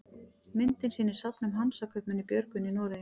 myndin sýnir safn um hansakaupmenn í björgvin í noregi